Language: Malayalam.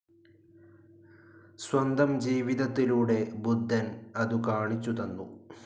സ്വന്തം ജീവിതത്തിലൂടെ ബുദ്ധൻ അതു കാണിച്ചു തന്നു.